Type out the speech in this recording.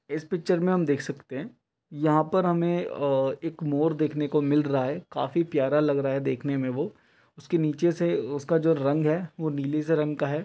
इस पिक्चर में हम देख सकते हैं यहां पर हमें अ एक मोर देखने को मिल रहा है काफी प्यारा लग रहा है देखने में वो उसके नीचे से उसका जो रंग है वह नीली से रंग का है।